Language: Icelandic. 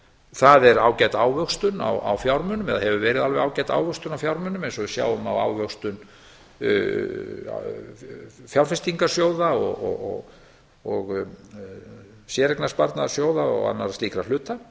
það er ágæt ávöxtun á fjármunum eða hefur verið alveg ágæt ávöxtun á fjármunum eins og við sjáum á ávöxtun fjárfestingarsjóða og séreignarsparnaðarsjóða og annarra slíkra hluta